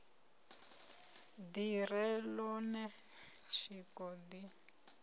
ḓi re ḽone tshiko ḓi